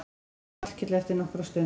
spurði Hallkell eftir nokkra stund.